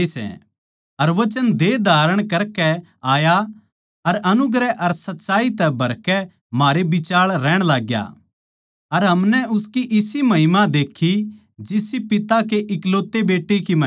अर वचन देह धारण करकै आया अर अनुग्रह अर सच्चाई तै भरकै म्हारै बिचाळै रहण लाग्या अर हमनै उसकी इसी महिमा देक्खी जिसी पिता कै इकलौते बेट्टे की महिमा